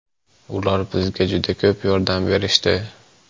Ular bizga juda ko‘p yordam berishdi.